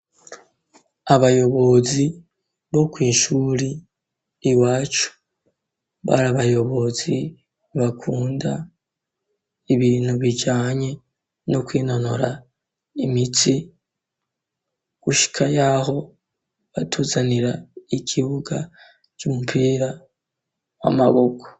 Abayobozi bo kw'ishuri iwacu, bari abayobozi bakunda ibintu bijanye no kwinonora imitsi gushayaho batuzanira ikibuga c'umupira w'amaboko.